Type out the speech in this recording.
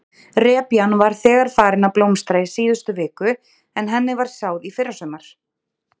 Repjan var þegar farin að blómstra í síðustu viku en henni var sáð í fyrrasumar?